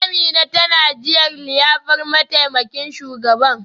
Amina tana jiran liyafar mataimakin shugaban.